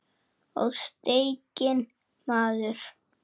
Og steikin maður.